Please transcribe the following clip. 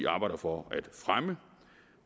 arbejder for at fremme